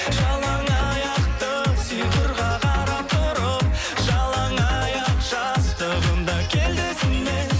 жалаңаяқты сыйқырға қарап тұрып жалаңаяқ жастығым да келді есіме